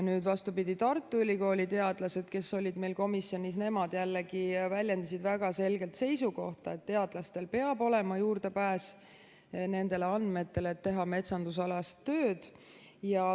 Nüüd, vastupidi, Tartu Ülikooli teadlased, kes olid meil komisjonis, jällegi väljendasid väga selgelt seisukohta, et teadlastel peab olema juurdepääs nendele andmetele, et teha metsandusalast tööd.